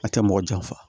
A tɛ mɔgɔ janfa